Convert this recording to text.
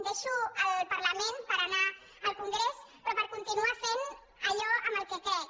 deixo el parlament per anar al congrés però per con·tinuar fent allò en què crec